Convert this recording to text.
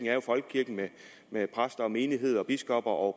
jo folkekirken med præster og menigheder og biskopper og